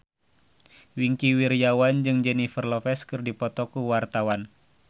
Wingky Wiryawan jeung Jennifer Lopez keur dipoto ku wartawan